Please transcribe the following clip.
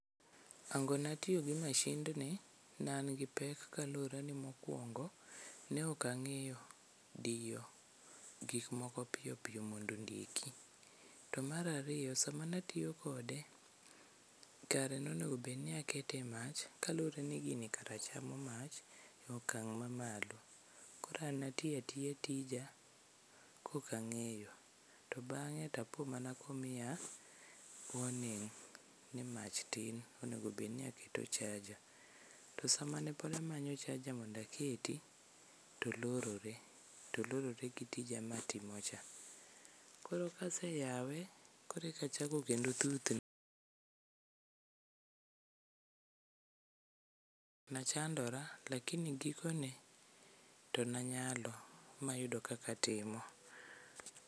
Hango natiyo gi mashindni nan gi pek kaluwre ni mokwongo ne ok ang'eyo diyo gikmoko piyo piyo mondo ondiki. To mar ariyo sama mnatiyo kode kare nonegobedni akete e mach kaluwre ni gini kara chamo mach e okang' mamalo, koro an natiatiya tija kokang'eyo to bang're tapo mana komiya warning ni mach tin onego bedni aketo charger. To sama pod namanyo charger mondo aketi to olorore, to olorore gi tija matimocha. Koro kaseyawe koro eka achako kendo thuthni. Nachandora lakini gikone to nanyalo mayudo kaka atimo.